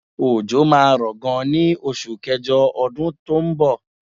Òjò máa ń rọ gan ní oṣù kẹjọ ọdún tó ń bọ̀.